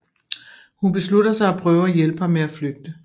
Hun beslutter sig at prøve at hjælpe ham med at flygte